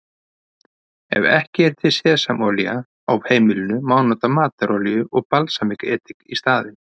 Ef ekki er til sesamolía á heimilinu má nota matarolíu og balsamedik í staðinn.